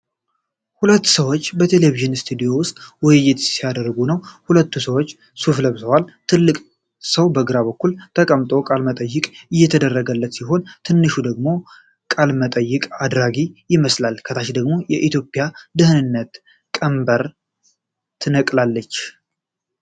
ሁለት ሰዎች በቴሌቪዥን ስቱዲዮ ውስጥ ውይይት ሲያደርጉ ነው። ሁለቱም ሰዎች ሱፍ ለብሰዋል። ትልቁ ሰው በግራ በኩል ተቀምጦ ቃለ መጠይቅ እየተደረገለት ሲሆን፣ ትንሹ ሰው ደግሞ ቃለ መጠይቅ አድራጊው ይመስላል። ከታች ደግሞ "ኢትዮጵያ የድህነት ቀንበርን ትነቅላታለች"